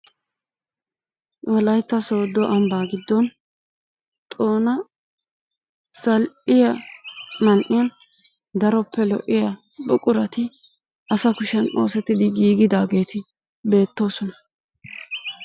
Wolaytta Sooddo ambba giddon xoona zal''iya man''iyan daroppe lo''iyaa buqurati asa kushiyaan ooseti giigidaageeti beettoosona.